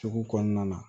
Sugu kɔnɔna na